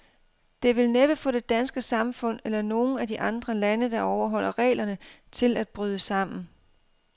Det vil næppe få det danske samfund, eller nogen af de andre lande, der overholder reglerne, til at bryde sammen.